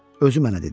Özü mənə dedi.